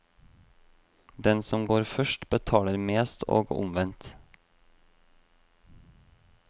Den som går først, betaler mest, og omvendt.